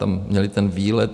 Tam měli ten výlet.